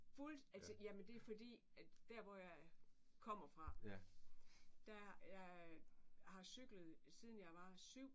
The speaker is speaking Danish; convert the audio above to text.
Fuld altså jamen det fordi at der hvor jeg kommer fra der jeg har cyklet siden jeg var 7